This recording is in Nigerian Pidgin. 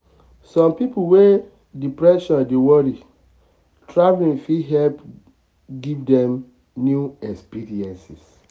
some people wey depression dey worry traveling fit help give dem new experiences.